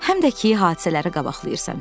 Həm də ki hadisələri qabaqlayırsan.